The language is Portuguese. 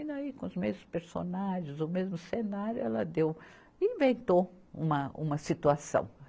E aí, com os mesmos personagens, o mesmo cenário, ela deu, inventou uma, uma situação.